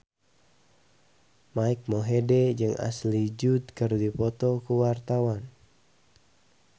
Mike Mohede jeung Ashley Judd keur dipoto ku wartawan